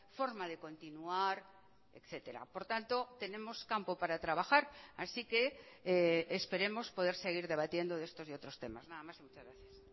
forma de continuar etcétera por tanto tenemos campo para trabajar así que esperemos poder seguir debatiendo de estos y otros temas nada más y muchas gracias